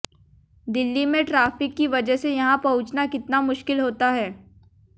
दिल्ली में ट्राफिक की वजह से यहां पहुंचना कितना मुश्किल होता है